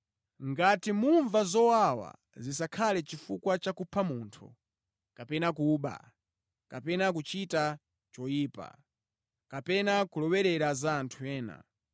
Ngati mumva zowawa, zisakhale chifukwa cha kupha munthu, kapena kuba, kapena kuchita choyipa, kapena kulowerera za anthu ena,